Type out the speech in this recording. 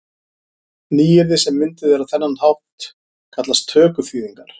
Nýyrði sem mynduð eru á þennan hátt kallast tökuþýðingar.